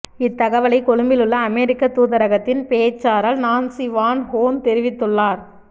இத்தகவலை கொழும்பிலுள்ள அமெரிக்கத் தூதரகத்தின் பேச்சாரள் நான்சி வான் ஹோர்ன் தெரிவித்துள்ளார்